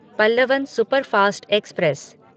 Pallavan superfast express